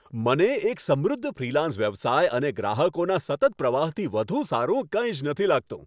મને એક સમૃદ્ધ ફ્રીલાન્સ વ્યવસાય અને ગ્રાહકોના સતત પ્રવાહથી વધુ સારું કંઈ જ નથી લાગતું.